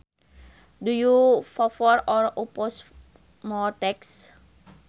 Do you favor or oppose more taxes